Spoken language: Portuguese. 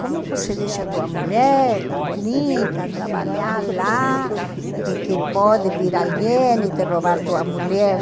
Como você deixa sua mulher tão bonita, trabalhar lá, e que pode vir alguém e te roubar sua mulher?